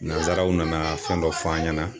Nanzaraw nana fɛn dɔ fɔ an ɲɛna.